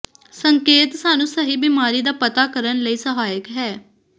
ਸੰਕੇਤ ਸਾਨੂੰ ਸਹੀ ਬਿਮਾਰੀ ਦਾ ਪਤਾ ਕਰਨ ਲਈ ਸਹਾਇਕ ਹੈ